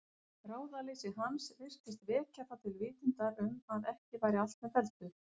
Ráðaleysi hans virtist vekja þá til vitundar um að ekki væri allt með felldu.